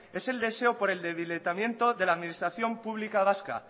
es el deseo por el debilitamiento de la administración pública vasca